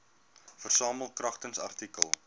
versamel kragtens artikel